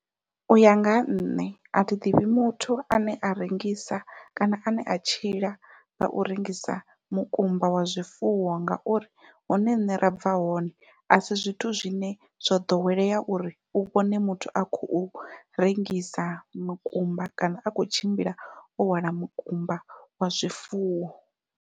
Uya nga ha nṋe athi ḓivhi muthu ane a rengisa kana ane a tshila ngau rengisa mukumba wa zwifuwo ngauri hune riṋe ra bva hone asi zwithu zwine zwo ḓowelea uri u vhone muthu a khou rengisa mukumba kana a khou tshimbila o hwala mukumba wa zwifuwo.